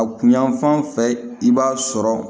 A kunyan fan fɛ i b'a sɔrɔ